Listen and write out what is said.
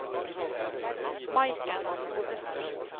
Maiken Ovesen